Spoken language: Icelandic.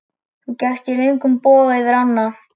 Þú gekkst í löngum boga yfir ána.